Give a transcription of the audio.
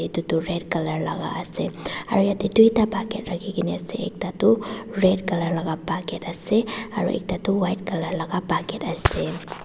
etu tu red colour laga ase aru yate duita bucket rakhi ke na ase ekta tu red colour laga bucket ase aru ekta tu white colour laga bucket asle.